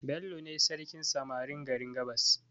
Bello ne sarkin samarin garin gabas